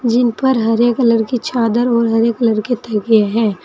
जिन पर हरे कलर कि चादर और हरे कलर के तकिये हैं।